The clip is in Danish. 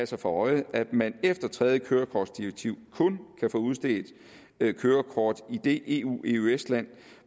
sig for øje at man efter tredje kørekortdirektiv kun kan få udstedt et kørekort i det eueøs land